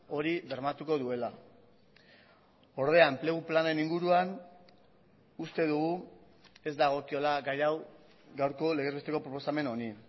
hori bermatuko duela ordea enplegu planen inguruan uste dugu ez dagokiola gai hau gaurko legez besteko proposamen honi